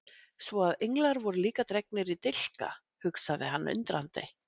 Svo að englar voru líka dregnir í slíka dilka, hugsaði hann undrandi.